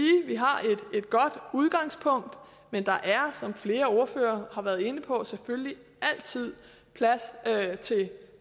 at et godt udgangspunkt men der er som flere ordførere har været inde på selvfølgelig altid plads til